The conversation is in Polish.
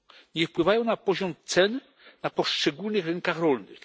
Nie wpływają na poziom cen na poszczególnych rynkach rolnych.